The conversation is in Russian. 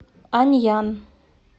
аньян